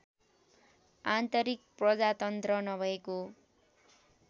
आन्तरिक प्रजातन्त्र नभएको